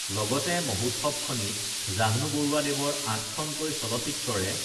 লগতে মহোৎসৱখনিত জাহ্নু বৰুৱাদেৱৰ আঠখনকৈ চলচ্চিত্ৰৰে